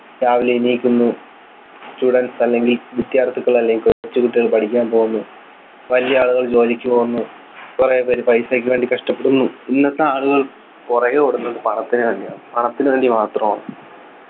രാവിലെ എണീക്കുന്നു students അല്ലെങ്കിൽ വിദ്യാർഥികൾ അല്ലെങ്കിൽ കുറച്ചു കുട്ടികൾ പഠിക്കാൻ പോകുന്നു വലിയ ആളുകൾ ജോലിക്ക് പോകുന്നു കുറെ പേര് പൈസക്ക് വേണ്ടി കഷ്ടപ്പെടുന്നു ഇന്നത്തെ ആളുകൾ പുറകെ ഓടുന്നത് പണത്തിനു വേണ്ടിയാണ് പണത്തിനു വേണ്ടി മാത്രമാണ്